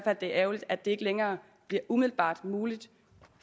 at det er ærgerligt at det ikke længere bliver umiddelbart muligt